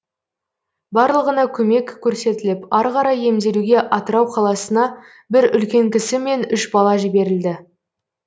барлығына көмек көрсетіліп ары қарай емделуге атырау қаласына бір үлкен кісі мен үш бала жіберілді